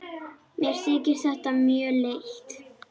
Mér þykir þetta mjög leitt.